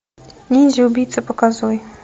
ниндзя убийца показывай